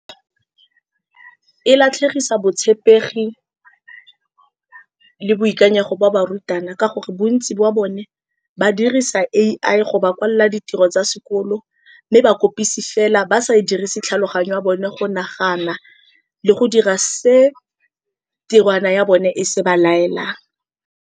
E latlhegisa botshepegi le boikanyego ba ba rutana, ka gore bontsi jwa bone ba dirisa A_I go ba kwalela ditiro tsa sekolo, mme ba kopise fela ba sa dirise tlhaloganyo ya bone go nagana le go dira se tirwana ya bone e se ba laelang.